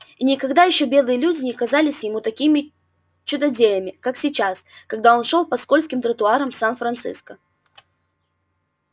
и никогда ещё белые люди не казались ему такими чудодеями как сейчас когда он шёл по скользким тротуарам сан-франциско